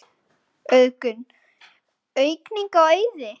Auðgun: aukning á auði?